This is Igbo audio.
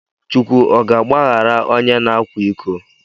Chukwu ọ ga agbaghara ọnye na akwa iko?